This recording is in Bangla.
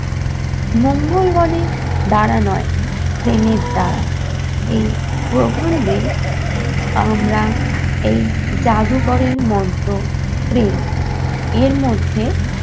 মঙ্গলগনের দ্বারা নয়, প্রেমের দ্বারা। এই প্রবন্ধে আমরা এই যাদুকরের মন্ত্র প্রেম। এর মধ্যে